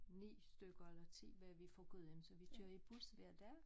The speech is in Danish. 9 stykker eller 10 var vi fra Gudhjem så vi kører i bus hver dag